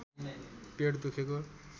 पेट दुखेको